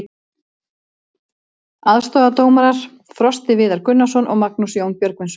Aðstoðardómarar: Frosti Viðar Gunnarsson og Magnús Jón Björgvinsson.